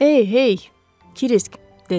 Ey, hey, Kris, - dedi.